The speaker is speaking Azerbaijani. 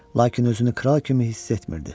Lakin özünü kral kimi hiss etmirdi.